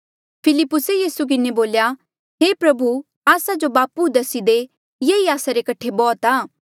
फिलिप्पुसे यीसू किन्हें बोल्या हे प्रभु आस्सा जो बापू दसी दे येई आस्सा रे कठे बौह्त आ